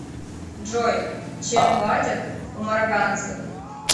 джой чем платят у марокканцев